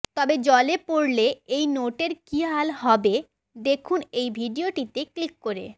তবে জলে পড়লে এই নোটের কী হাল হবে দেখুন এই ভিডিওতে ক্লিক করে